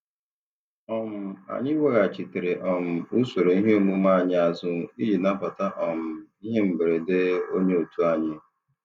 um Anyị weghachitere um usoro ihe omume anyị azụ iji nabata um ihe mberede onye otu anyị.